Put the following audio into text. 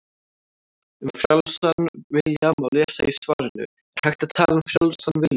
Um frjálsan vilja má lesa í svarinu Er hægt að tala um frjálsan vilja?